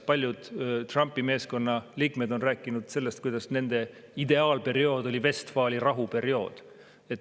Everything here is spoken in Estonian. Paljud Trumpi meeskonna liikmed on rääkinud sellest, kuidas nende ideaalperiood oli Vestfaali rahu periood.